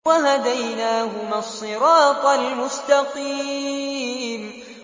وَهَدَيْنَاهُمَا الصِّرَاطَ الْمُسْتَقِيمَ